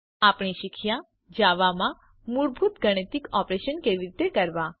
આપણે શીખ્યા જાવામાં મૂળભૂત ગાણિતિક ઓપરેશન કેવી રીતે કરવા